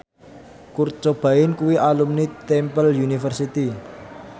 Kurt Cobain kuwi alumni Temple University